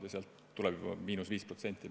Juba sellest tuleb meile –5%.